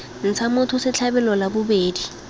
ntsha motho setlhabelo la bobedi